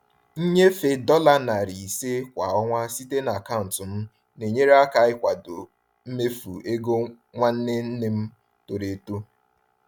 Nnyefe dollar 500 kwa ọnwa site na akaụntụ m na-enyere aka ịkwado mmefu ego nwanne nne m toro eto.